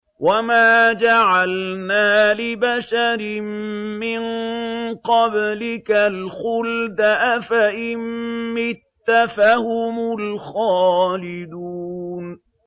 وَمَا جَعَلْنَا لِبَشَرٍ مِّن قَبْلِكَ الْخُلْدَ ۖ أَفَإِن مِّتَّ فَهُمُ الْخَالِدُونَ